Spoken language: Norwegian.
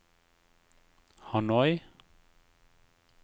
Hanoi